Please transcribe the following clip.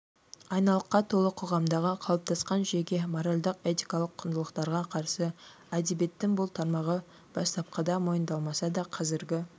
анайылыққа толы қоғамдағы қалыптасқан жүйеге моральдық-этикалық құндылықтарға қарсы әдебиеттің бұл тармағы бастапқыда мойындалмаса да қазіргі